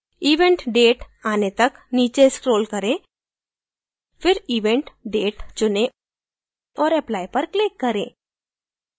event date आने तक नीचे scroll करें फिर event date चुनें और apply पर click करें